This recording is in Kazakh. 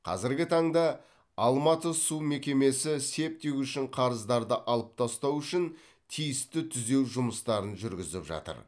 қазіргі таңда алматы су мекемесі септик үшін қарыздарды алып тастау үшін тиісті түзеу жұмыстарын жүргізіп жатыр